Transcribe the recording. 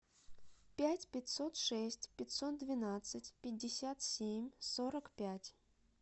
пять пятьсот шесть пятьсот двенадцать пятьдесят семь сорок пять